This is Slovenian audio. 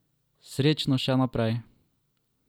Srečno še naprej!